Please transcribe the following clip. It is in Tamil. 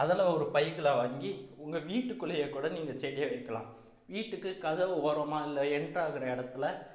அதுல ஒரு பைகளை வாங்கி உங்க வீட்டுக்குள்ளேயே கூட நீங்க செடியை வைக்கலாம் வீட்டுக்கு கதவை ஓரமா இல்லை enter ஆகுற இடத்துல